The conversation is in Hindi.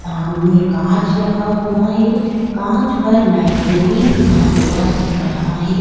सामने कांच लगा हुआ है कांच पे लाइब्रेरी लिखा हुआ दिख रहा है।